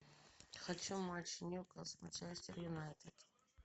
хочу матч ньюкасл манчестер юнайтед